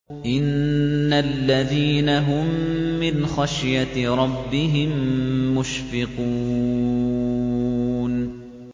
إِنَّ الَّذِينَ هُم مِّنْ خَشْيَةِ رَبِّهِم مُّشْفِقُونَ